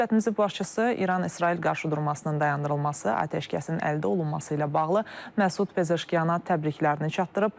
Dövlətimizin başçısı İran-İsrail qarşıdurmasının dayandırılması, atəşkəsin əldə olunması ilə bağlı Məsud Pezeşkiyana təbriklərini çatdırıb.